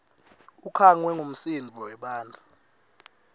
ukhangwe ngumsindvo webantfu